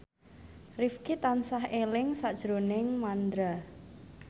Rifqi tansah eling sakjroning Mandra